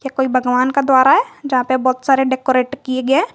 ये कोई कोई भगवान का द्वारा है यहां पे बहुत सारे डेकोरेट किए गए है।